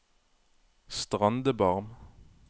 Strandebarm